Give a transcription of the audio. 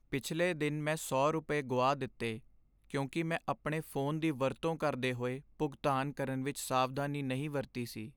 ਪਿਛਲੇ ਦਿਨ ਮੈਂ ਸੌ ਰੁਪਏ, ਗੁਆ ਦਿੱਤੇ ਕਿਉਂਕਿ ਮੈਂ ਆਪਣੇ ਫੋਨ ਦੀ ਵਰਤੋਂ ਕਰਦੇ ਹੋਏ ਭੁਗਤਾਨ ਕਰਨ ਵਿੱਚ ਸਾਵਧਾਨੀ ਨਹੀਂ ਵਰਤੀ ਸੀ